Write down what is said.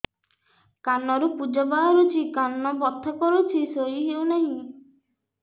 କାନ ରୁ ପୂଜ ବାହାରୁଛି କାନ ବଥା କରୁଛି ଶୋଇ ହେଉନାହିଁ